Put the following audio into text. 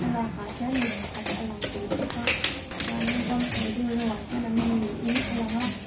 thlalak ah hian mi pakhat a lang tel bawk a chuanin ramhnuai deuh reuh ah hian an awm niin a lang a.